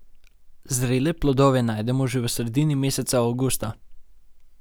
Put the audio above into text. Zrele plodove najdemo že v sredini meseca avgusta.